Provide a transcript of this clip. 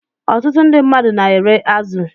Ọtụtụ ndị mmadụ na-ere azụ